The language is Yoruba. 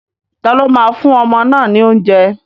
Taló máa fún ọmọ náà ní oúnjẹ?